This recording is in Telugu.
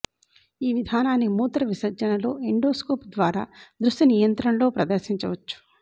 ఈ విధానాన్ని మూత్ర విసర్జనలో ఎండోస్కోప్ ద్వారా దృశ్య నియంత్రణలో ప్రదర్శించవచ్చు